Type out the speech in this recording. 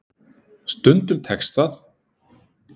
Stundum tekst það.